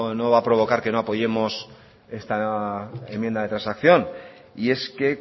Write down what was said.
no va a provocar que no apoyemos esta enmienda de transacción y es que